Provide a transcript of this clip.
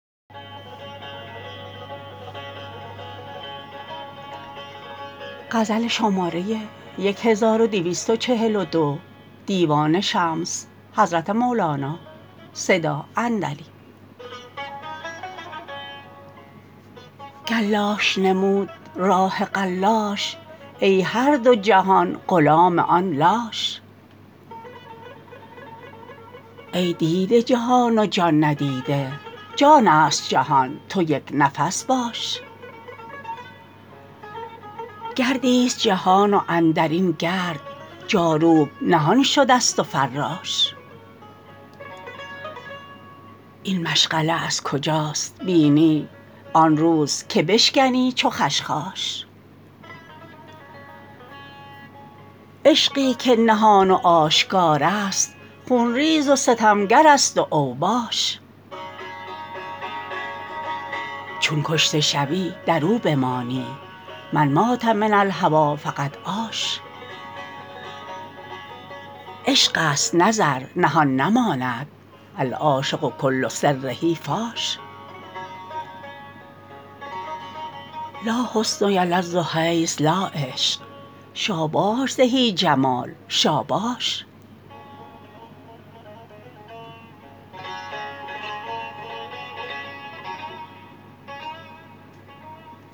گر لاش نمود راه قلاش ای هر دو جهان غلام آن لاش ای دیده جهان و جان ندیده جانست جهان تو یک نفس باش گردیست جهان و اندر این گرد جاروب نهان شدست و فراش این مشعله از کجاست بینی آن روز که بشکنی چو خشخاش عشقی که نهان و آشکارست خون ریز و ستمگرست و اوباش چون کشته شوی در او بمانی من مات من الهوی فقد عاش عشقست نه زر نهان نماند العاشق کل سره فاش لا حسن یلد حیث لا عشق شاباش زهی جمال شاباش